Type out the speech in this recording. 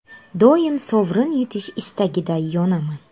Doim sovrin yutish istagida yonaman.